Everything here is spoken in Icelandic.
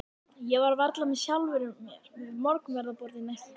Ég var varla með sjálfri mér við morgunverðarborðið næsta dag.